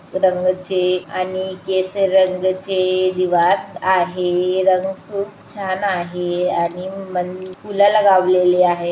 रंगाचे आणि केसरी रंगाचे जी वात आहे रंग खुप छान आहे आणि मन फुलं लगावलेले आहे.